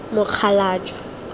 mokgalajwe